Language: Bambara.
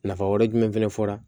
Nafa wɛrɛ jumɛn fɛnɛ fɔra